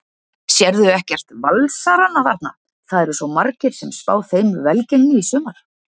Sérðu ekkert Valsarana þarna, það eru margir sem spá þeim velgengni í sumar?